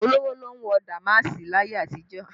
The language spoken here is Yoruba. Olówó ló ń wọ damaasi láyé àtijó